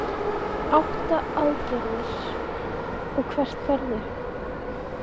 Sigríður Guðlaugsdóttir: Átta aðgerðir, og hvert ferðu?